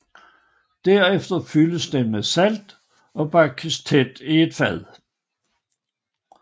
Derefter fyldes den med salt og pakkes tæt i et fad